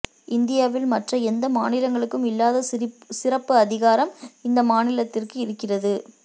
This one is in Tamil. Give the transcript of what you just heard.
இந்தியாவில் மற்ற எந்த மாநிலங்களுக்கும் இல்லாத சிறப்பு அதிகாரம் இந்த மாநிலத்திற்கு இருக்கிறது